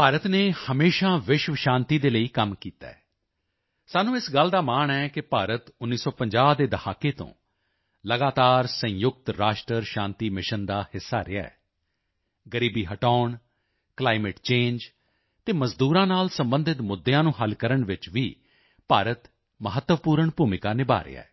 ਭਾਰਤ ਨੇ ਹਮੇਸ਼ਾ ਵਿਸ਼ਵ ਸ਼ਾਂਤੀ ਦੇ ਲਈ ਕੰਮ ਕੀਤਾ ਹੈ ਸਾਨੂੰ ਇਸ ਗੱਲ ਦਾ ਮਾਣ ਹੈ ਕਿ ਭਾਰਤ 1950 ਦੇ ਦਹਾਕੇ ਤੋਂ ਲਗਾਤਾਰ ਸੰਯੁਕਤ ਰਾਸ਼ਟਰ ਸ਼ਾਂਤੀ ਮਿਸ਼ਨ ਦਾ ਹਿੱਸਾ ਰਿਹਾ ਹੈ ਗ਼ਰੀਬੀ ਹਟਾਉਣ ਕਲਾਈਮੇਟ ਚੰਗੇ ਅਤੇ ਮਜ਼ਦੂਰਾਂ ਨਾਲ ਸਬੰਧਿਤ ਮੁੱਦਿਆਂ ਨੂੰ ਹੱਲ ਕਰਨ ਵਿੱਚ ਵੀ ਭਾਰਤ ਮਹੱਤਵਪੂਰਨ ਭੂਮਿਕਾ ਨਿਭਾ ਰਿਹਾ ਹੈ